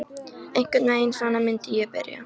Einhvern veginn svona myndi ég byrja.